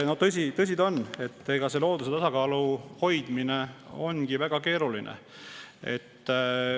Tõsi ta on, et looduse tasakaalu hoidmine ongi väga keeruline.